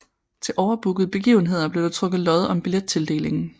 Til overbookede begivenheder blev der trukket lod om billettildelingen